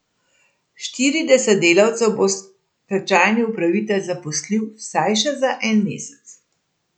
Štirideset delavcev bo stečajni upravitelj zaposlil vsaj še za en mesec.